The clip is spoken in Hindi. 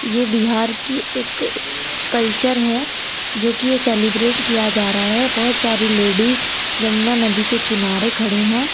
ये बिहार की एक कल्चर है जो कि ये सेलिब्रेट किया जा रहा है बहुत सारी लेडीज जमुना नदी के किनारे खड़ी हैं।